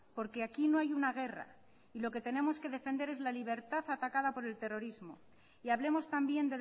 porque aquí no hay una guerra y lo que tenemos que defender es la libertad atacada por el terrorismo y hablemos también